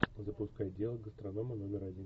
запускай дело гастронома номер один